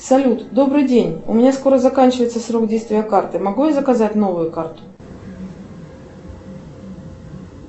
салют добрый день у меня скоро заканчивается срок действия карты могу я заказать новую карту